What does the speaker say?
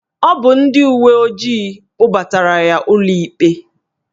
Ọ bụ ndị uwe ojii kpụbatara ya ụlọikpe